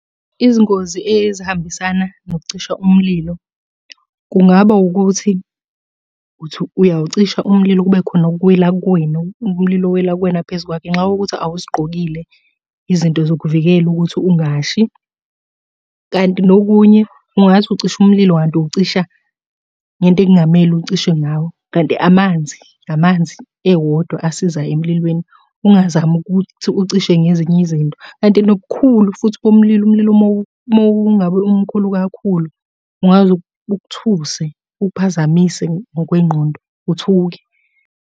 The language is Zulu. Izingozi ezihambisana nokucisha umlilo kungaba wukuthi uthi uyawucisha umlilo kube khona okuwela kuwena, umlilo owela kuwena phezu kwakho. Ngenxa yokuthi awuzigqokile izinto zokuvikela ukuthi ungashi, kanti nokunye ungathi ucisha umlilo kanti uwucisha ngento ekungamele uwucishe ngawo, kanti amanzi, amanzi ewodwa asiza emlilweni. Ungazami ukuthi ucishe ngezinye izinto, kanti nobukhulu futhi bomlilo, umlilo uma ngabe umkhulu kakhulu, ungaze ukuthuse ukuphazamise ngokwengqondo uthuke.